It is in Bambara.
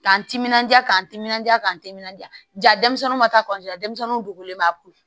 K'an timinanja k'an timinanja k'an timinanja ja denmisɛnninw ma taa denmisɛnninw dogolen b'a kun